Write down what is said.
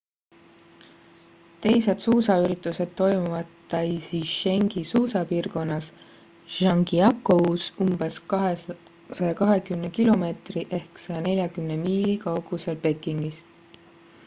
teised suusaüritused toimuvad taizichengi suusapiirkonnas zhangjiakous umbes 220 km 140 miili pekingist